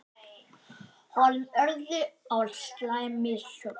Honum urðu á slæm mistök.